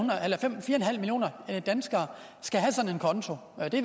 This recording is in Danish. millioner danskere skal have sådan en konto og det